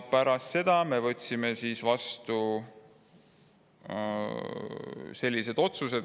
Pärast seda võtsime vastu otsused.